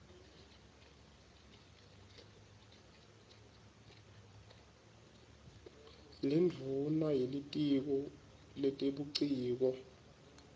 lendvuna yelitiko letebuciko